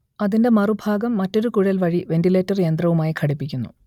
അതിന്റെ മറുഭാഗം മറ്റൊരു കുഴൽ വഴി വെന്റിലേറ്റർ യന്ത്രവുമായി ഘടിപ്പിക്കുന്നു